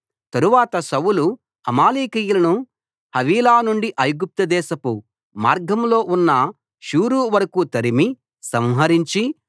తరువాత సౌలు అమాలేకీయులను హవీలా నుండి ఐగుప్తు దేశపు మార్గంలో ఉన్న షూరు వరకూ తరిమి సంహరించి